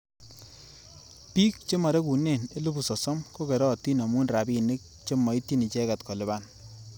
Bik chemarekune elipu sosom kokeratin amu robinik chemaityi icheket kolipan.